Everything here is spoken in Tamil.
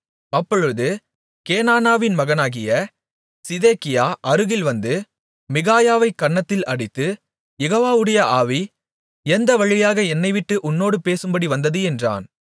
அப்பொழுது கேனானாவின் மகனாகிய சிதேக்கியா அருகில் வந்து மிகாயாவைக் கன்னத்தில் அடித்து யெகோவாவுடைய ஆவி எந்த வழியாக என்னைவிட்டு உன்னோடு பேசும்படி வந்தது என்றான்